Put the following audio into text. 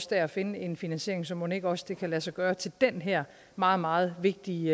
der at finde en finansiering så mon ikke også det kan lade sig gøre til den her meget meget vigtig